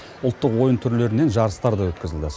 ұлттық ойын түрлерінен жарыстар да өткізілді